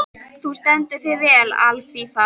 Þú stendur þig vel, Alfífa!